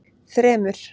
þremur